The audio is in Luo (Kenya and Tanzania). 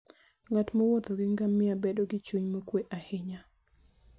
Ng'at mowuotho gi ngamia bedo gi chuny mokuwe ahinya.